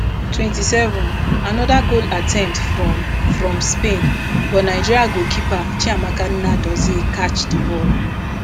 twenty-seven anoda goal attempt from from spain but nigeria goalkeeper chiamaka nnadozie catch di ball